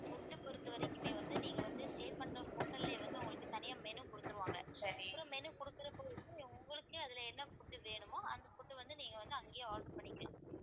food பொறுத்தவரைக்குமே வந்து நீங்க வந்து stay பண்ற hotel லயே வந்து உங்களுக்கு தனியா menu கொடுத்திருவாங்க அப்புறம் menu கொடுக்குறப்ப வந்து உங்களுக்கே அதுல என்ன food வேணுமோ அந்த food வந்து நீங்க வந்து அங்கேயே order பண்ணிக்கலாம்